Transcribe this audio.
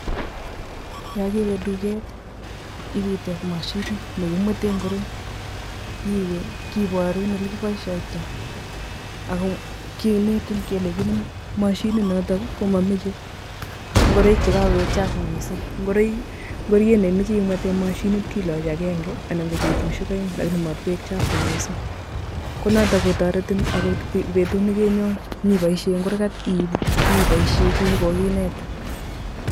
Yon kewe duket ibeiteb mashinit nekimweten ingoroik, iwe kiborun ole koboiishoitoi, ako kinetin kele mashinit noton komomoche ngoroik chekokoik chafu missing, ingoroik I chemoche imweten mashinit kiloochi avenge anan ko betusiek oeng lakini matkooik chafu missing. Konoton kotoretin okot betut nekonyon iboishien kou yekokinetin